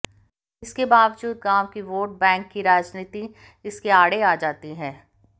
इसके बावजूद गांव की वोट बैंक की राजनीति इसके आड़े आ जाती है